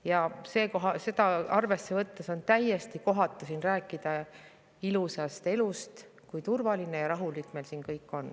Ja seda arvesse võttes on täiesti kohatu siin rääkida ilusast elust ja sellest, kui turvaline ja rahulik meil siin on.